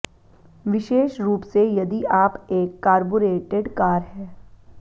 विशेष रूप से यदि आप एक कारबुरेटेड कार है